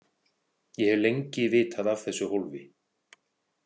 Ég hef lengi vitað af þessu hólfi.